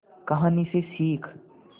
कहानी से सीख